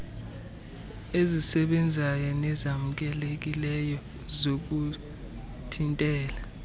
ezisebenzayo nezamkelekileyo zokuthintela